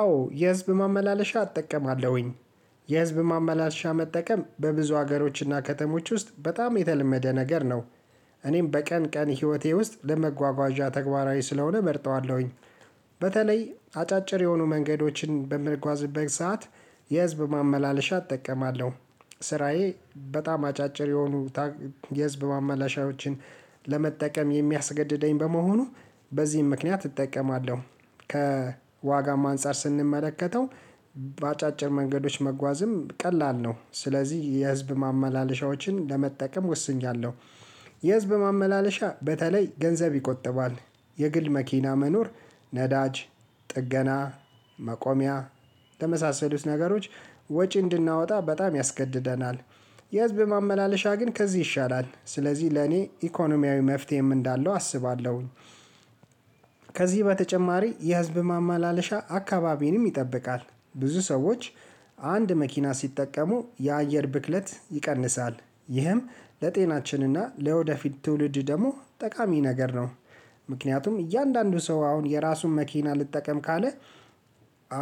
አዎ የህዝብ ማመላለሻ አጠቀማለሁኝ። የህዝብ ማመላለሻ መጠቀም በብዙ ሀገሮችና ከተሞች ውስጥ በጣም የተለመደ ነገር ነው። እኔም በቀን ቀን ህይወቴ ውስጥ ለመጓጓዣ ተግባራዊ ስለሆነ እመርጠዋለሁኝ። በተለይ አጫጭር የሆኑ መንገዶችን በምጓዝበት ሰዓት የህዝብ ማመላለሻ እጠቀማለሁ። ስራዬ በጣም አጫጭር የሆኑ የህዝብ ማመላሻዎችን ለመጠቀም የሚያስገድደኝ በመሆኑ በዚህም ምክንያት እጠቀማለሁ። ከዋጋም አንፃር ስንመለከተው በአጫጭር መንገዶች መጓዝም ቀላል ነው ስለዚህ የህዝብ ማመላለሻዎችን ለመጠቀም ወስኛለሁ። የህዝብ ማመላለሻ በተለይ ገንዘብ ይቆጥባል የግል መኪና መኖር ነዳጅ ጥገና መቆሚያ ተመሳሰሉት ነገሮች ወጪ እንድናወጣ በጣም ያስገድደናል። የህዝብ ማመላለሻ ግን ከዚህ ይሻላል ስለዚህ ለኔ ኢኮኖሚያዊ መፍትሄም እንዳለው አስባለሁኝ። ከዚህ በተጨማሪ የህዝብ ማማለሻ አካባቢንም ይጠብቃል ብዙ ሰዎች አንድ መኪና ሲጠቀሙ የአየር ብክለት ይቀንሳል ይህም ለጤናችንና ለወደፊት ትውልድ ደግሞ ጠቃሚ ነገር ነው። ምክንያቱም እያንዳንዱ ሰው አሁን የራሱን መኪና ልጠቀም ካለ